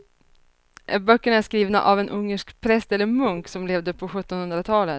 Böckerna är skrivna av en ungersk präst eller munk som levde på sjuttonhundratalet.